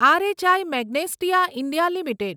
રહી Magnesita India limited